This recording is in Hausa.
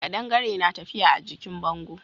Kadangare na tafiya a jikin bango.